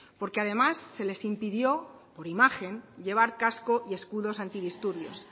porque además se les impidió por imagen llevar casco y escudos antidisturbios